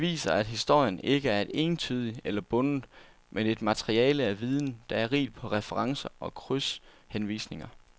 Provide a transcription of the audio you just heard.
Det viser, at historien ikke er entydig eller bundet, men et materiale af viden, der er rigt på referencer og krydshenvisninger.